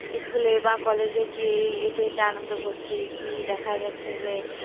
School এ বা college এ গিয়ে এটা এটা আনন্দ করসি কি দেখা যাচ্ছে যে,